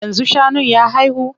Yanzu shanun ya haihu?